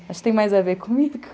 Acho que tem mais a ver comigo.